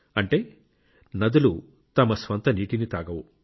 అంటే నదులు తమ స్వంత నీటిని తాగవు